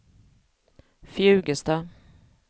Fjugesta